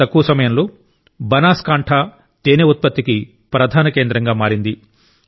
చాలా తక్కువ సమయంలో బనాస్ కాంఠ తేనె ఉత్పత్తికి ప్రధాన కేంద్రంగా మారింది